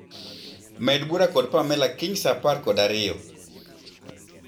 Med bura kod Pamela kiny saaaparb kod ariyo